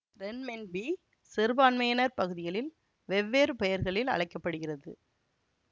renminbi சிறுபான்மையினர் பகுதிகளில் வெவ்வேறு பெயர்களில் அழைக்க படுகிறது